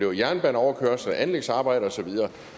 med jernbaneoverkørsler anlægsarbejder osv